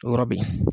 O yɔrɔ be yen